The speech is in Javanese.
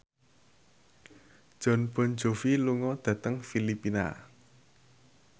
Jon Bon Jovi lunga dhateng Filipina